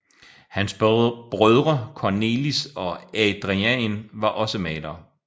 Hans brødre Cornelis og Adriaen var også malere